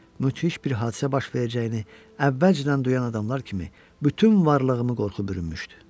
Müthiş bir hadisə baş verəcəyini əvvəlcədən duyan adamlar kimi bütün varlığımı qorxu bürümüşdü.